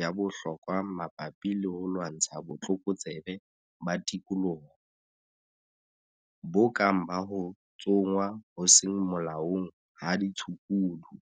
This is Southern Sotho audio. ya bohlokwa mabapi le ho lwantsha botlokotsebe ba tikoloho, bo kang ba ho tsongwa ho seng molaong ha ditshukudu.